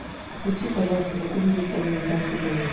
включи пожалуйста какую нибудь американскую комедию